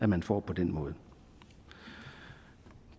man får på den måde